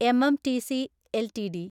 MMTC LTD